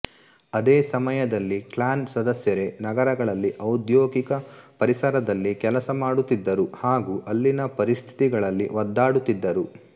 ಅದೇ ಸಮಯದಲ್ಲಿ ಕ್ಲಾನ್ ಸದಸ್ಯರೇ ನಗರಗಳಲ್ಲಿ ಔದ್ಯೋಗಿಕ ಪರಿಸರದಲ್ಲಿ ಕೆಲಸ ಮಾಡುತ್ತಿದ್ದರು ಹಾಗೂ ಅಲ್ಲಿನ ಪರೀಸ್ಥಿತಿಗಳಲ್ಲಿ ಒದ್ದಾಡುತ್ತಿದ್ದರು